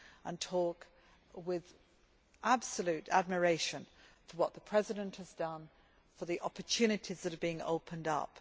and talk with absolute admiration for what the President has done and the opportunities that are being opened up.